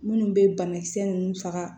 Minnu bɛ banakisɛ nunnu faga